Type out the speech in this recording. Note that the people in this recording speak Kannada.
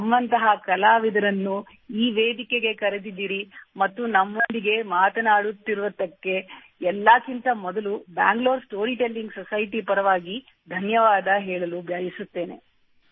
ನಮ್ಮಂತಹ ಕಲಾವಿದರನ್ನು ಈ ವೇದಿಕೆಗೆ ಕರೆದಿದ್ದೀರಿ ಮತ್ತು ನಮ್ಮೊಂದಿಗೆ ಮಾತನಾಡುತ್ತಿರುವುದಕ್ಕೆ ಎಲ್ಲಕ್ಕಿಂತ ಮೊದಲು ಬ್ಯಾಂಗಲೂರ್ ಸ್ಟೋರಿ ಟೆಲ್ಲಿಂಗ್ ಸೊಸೈಟಿ ಪರವಾಗಿ ಧನ್ಯವಾದ ಹೇಳಲು ಬಯಸುತ್ತೇನೆ